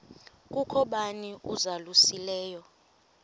kukho bani uzalusileyo